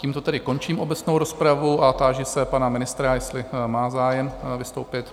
Tímto tedy končím obecnou rozpravu a táži se pana ministra, jestli má zájem vystoupit?